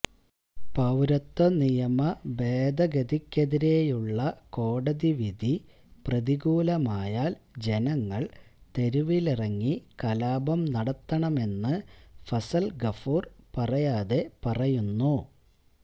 പൌരത്വ നിയമ ഭേദഗതിക്കെതിരെയുള്ള കോടതിവിധി പ്രതികൂലമായാൽ ജനങ്ങൾ തെരുവിലിറങ്ങി കലാപം നടത്തണമെന്ന് ഫസൽ ഗഫൂർ പറയാതെ പറയുന്നു